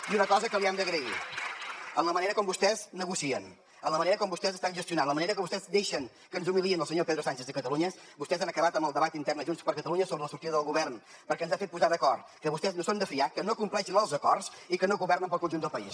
i una cosa que li hem d’agrair amb la manera com vostès negocien amb la manera com vostès estan gestionant amb la manera com vostès deixen que ens humiliï el senyor pedro sánchez a catalunya vostès han acabat amb el debat intern de junts per catalunya sobre la sortida del govern perquè ens ha fet posar d’acord que vostès no són de fiar que no compleixen els acords i que no governen per al conjunt del país